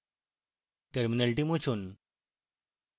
terminal মুছুন